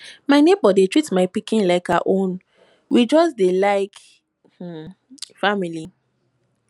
my nebor dey treat my pikin like her own we just dey like um family